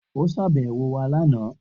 O ṣàbẹwò wa lana.